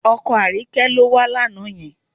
Ọkọ Àríkẹ́ ló wá lánàá yẹn